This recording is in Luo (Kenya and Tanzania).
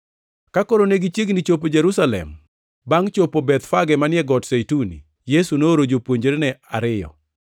Ka koro ne gichiegni chopo Jerusalem, bangʼ chopo Bethfage manie Got Zeituni, Yesu nooro jopuonjrene ariyo,